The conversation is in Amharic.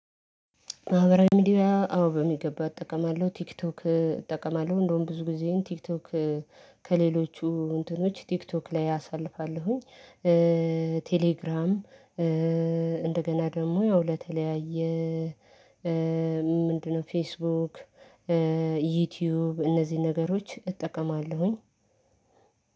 ማህበራዊ ሚዲያ አዎ በሚገባ እጠቀማለሁ ቲክቶክ እጠቀማለሁ እንደውም ብዙ ጊዜ ቲክቶክ ከሌሎቹ እንትኖች ቲክቶክ ላይ አሳልፋለሁኝ። ቴሌግራም እንደገና ደግሞ ያው ለተለያየ። ምንድነው? ፌስቡክ ዩትዩብ እነዚህን ነገሮች እጠቀማለሁኝ።